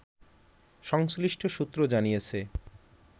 সংশ্লিষ্ট সূত্র জানিয়েছে